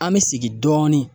An bɛ segin dɔɔni.